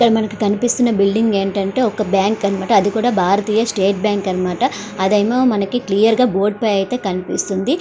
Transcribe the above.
ఇక్కడ మనకి కనిపిస్తున్న బిల్డింగ్ ఏంటంటే అది ఒక బ్యాంక్ అనమాట అదికూడా భారతీయ స్టేట్ బ్యాంక్ అనమాట అదేమో మనకు బోర్డు పైన అయితే క్లియర్ గా కనిపిస్తుంది.